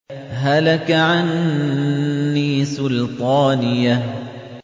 هَلَكَ عَنِّي سُلْطَانِيَهْ